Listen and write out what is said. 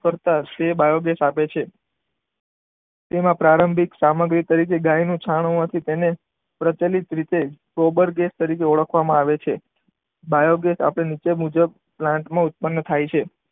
કરતા એ બાયોગેસ આપે છે. તેના પ્રારંભિક સામગ્રી તરીકે ગાયનું છાણ હોવાથી તેને પ્રચલિત રીતે ગોબર ગેસ તરીકે ઓળખવામાં આવે છે. બાયોગેસ આપણે નીચે મુજબ પ્લાન્ટમાં ઉત્પન્ન થાય છે.